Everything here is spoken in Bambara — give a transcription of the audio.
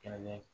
Kɛlɛlen